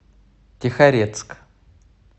тихорецк